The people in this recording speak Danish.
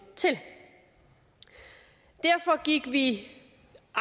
til derfor gik vi i